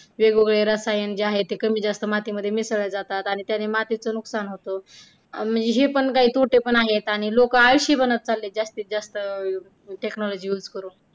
वेगवेगळे रसायन जे आहे, कमी जास्त मातीमध्ये मिसळले जाते आणि त्यांनी मातीचे नुकसान होतं आणि हे पण काही तोटे पण आहे आणि लोक आळशी बनत चालले आहे जास्तीत जास्त technology use करून.